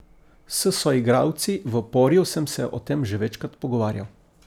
S soigralci v Poriju sem se o tem že večkrat pogovarjal.